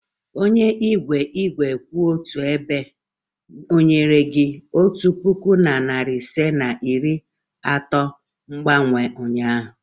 Onye igwe igwe kwụ otu ebe nyere gị otu puku na narị ise na iri atọ mgbanwe m ụnyaahụ?